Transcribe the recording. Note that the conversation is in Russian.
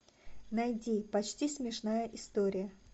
найди почти смешная история